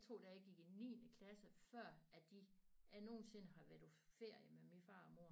Jeg tror da jeg gik i niende klasse før at de jeg nogensinde har været på ferie med min far og mor